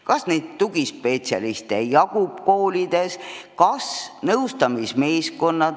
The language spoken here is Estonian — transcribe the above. Kas tugispetsialiste jagub koolides?